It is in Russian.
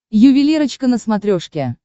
ювелирочка на смотрешке